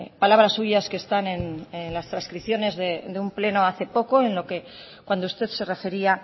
palabras suyas que están en las transcripciones de un pleno hace poco en lo que cuando usted se refería